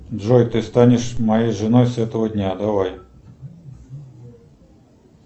джой ты станешь моей женой с этого дня давай